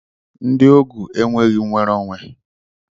Ndị ogu enweghị nnwere onwe.